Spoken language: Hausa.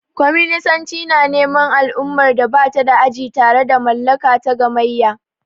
Kwaminisanci na neman al'ummar da ba ta da aji tare da mallaka ta gamayya.